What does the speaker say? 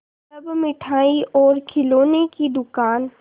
तब मिठाई और खिलौने की दुकान